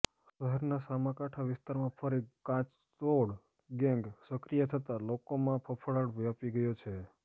શહેરના સામાકાંઠા વિસ્તારમાં ફરી કાચતોડ ગેંગ સકિ્રય થતા લોકોમાં ફફડાટ વ્યાપી ગયો છે